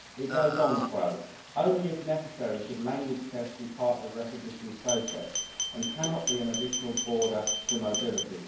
It goes on to say that only if necessary should language tests be part of the recognition process and cannot be an additional border to mobility'.